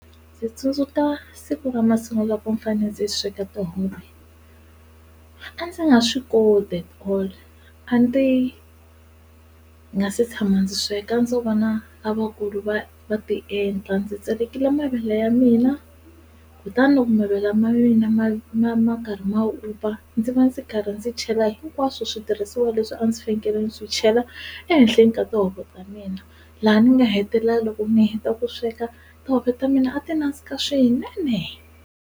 Ndzi tsundzuka siku ra masungulo loko ndzi fanele ndzi sweka tihove a ndzi nga swi koti at all, a ndzi nga se tshama ndzi sweka a ndzo vona lavakulu va va ti endla, ndzi tsakekile mavele ya mina kutani loko mavele ma mina ma ma ma karhi ma vupfa ndzi va ndzi karhi ndzi chela hinkwaswo switirhisiwa leswi a ndzi fanekele ndzi chela ehenhleni ka tihuku ta mina laha ni nga hetelela loko ni heta ku sweka tihove ta mina a ti nandzika swinene.